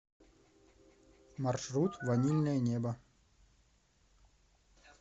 маршрут ванильное небо